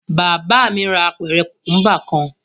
Bàbá mi ra apẹ̀rẹ̀ kùkúḿbà kan.